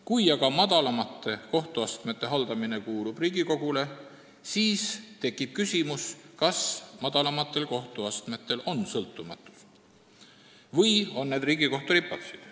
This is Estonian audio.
Kui aga madalamate kohtuastmete haldamine on Riigikohtu ülesanne, siis tekib küsimus, kas madalamad kohtuastmed on sõltumatud või on need Riigikohtu ripatsid.